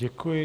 Děkuji.